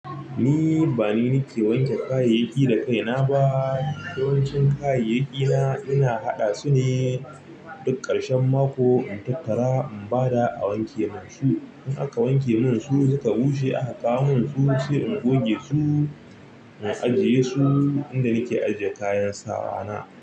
Ni ba ni ne ke wanke kayayyaki da kaina ba. Yawancin kayayyaki na ina haɗa su ne. Duk ƙarshen mako in tattara in bada a wanke mun su. In aka wanke munsu suka bushe aka kawo min su sai ingoge su in ajiyesu a inda nake ajiya kayana.